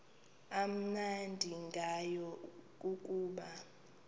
amnandi ngayo kukuba